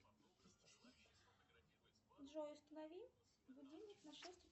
джой установи будильник на шесть